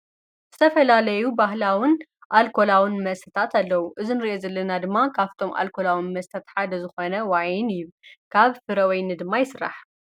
ዝተፈላለዩ ባህላውን ኣልኮላውን መስታት ኣለዉ፡፡ እዚ ንሪኦ ዘለና ድማ ካብቶም ኣልኮላዊ መስታት ሓደ ዝኾነ ወይን ካብ ፍረወይኒ ድማ ይሥራሕ፡፡